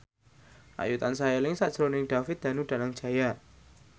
Ayu tansah eling sakjroning David Danu Danangjaya